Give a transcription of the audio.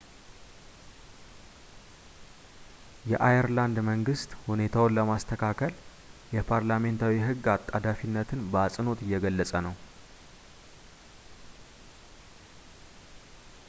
የአየርላንድ መንግሥት ሁኔታውን ለማስተካከል የፓርላሜንታዊ ሕግ አጣዳፊነትን በአጽንኦት እየገለጸ ነው